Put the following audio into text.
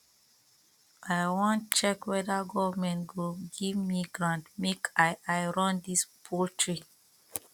i wan check weda government go give me grant make i i run dis poultry